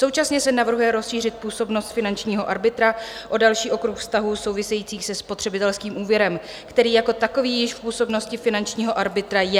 Současně se navrhuje rozšířit působnost finančního arbitra o další okruh vztahů souvisejících se spotřebitelským úvěrem, který jako takový již v působnosti finančního arbitra je.